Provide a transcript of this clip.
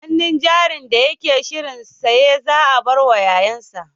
Hannun jarin da yake shirin saya za a bar wa ƴaƴansa